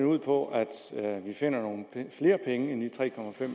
ud på at vi finder nogle flere penge end de tre